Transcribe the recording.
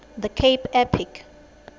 the cape epic